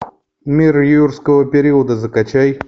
мир юрского периода закачай